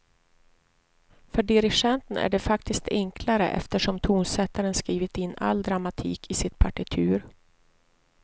För dirigenten är det faktiskt enklare eftersom tonsättaren skrivit in all dramatik i sitt partitur.